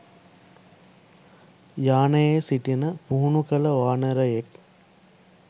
යානයේ සිටින පුහුණු කළ වානරයෙක්